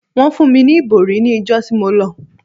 Wọ́n fún mi ní ìbòrí ní ìjọ tí mo lọ.